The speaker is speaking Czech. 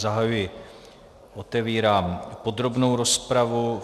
Zahajuji, otevírám podrobnou rozpravu.